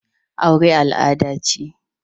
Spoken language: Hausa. Aure al'ada ce.